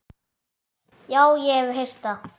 Já, ég hef heyrt það.